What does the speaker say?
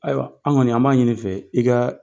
Ayiwa anw kɔni an b'a ɲini i fɛ, i ka